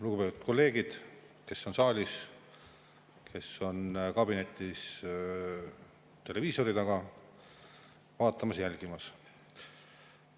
Lugupeetud kolleegid, kes on saalis, aga kes kabinetis televiisori taga vaatamas, jälgimas!